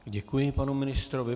Děkuji panu ministrovi.